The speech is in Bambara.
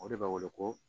O de b'a wele ko